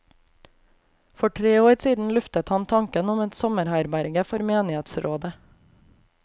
For tre år siden luftet han tanken om et sommerherberge for menighetsrådet.